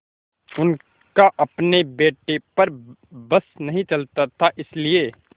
उनका अपने बेटे पर बस नहीं चलता था इसीलिए